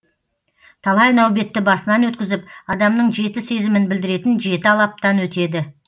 талай нәубетті басынан өткізіп адамның жеті сезімін білдіретін жеті алаптан өтеді